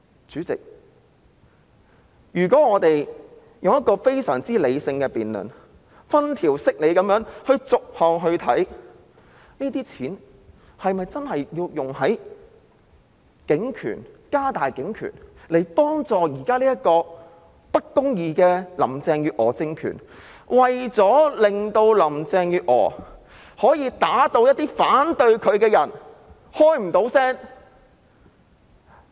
主席，如果我們非常理性地進行辯論，分條析理地逐項審視，這些錢是否真的要用於加大警權，協助現時這個不公義的林鄭月娥政權，讓林鄭月娥可以把一些反對她的人打到無法發聲呢？